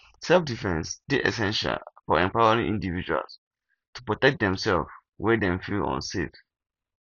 selfdefense dey essential for empowering individuals to protect themself where dem feel unsafe